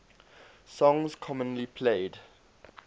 songs commonly played